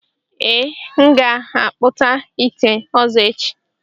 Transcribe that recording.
Ee, m ga-akpụta ite ọzọ echi.